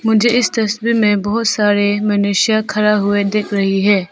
मुझे इस तस्वीर में बहोत सारे मनुष्य खड़ा हुए देख रही है।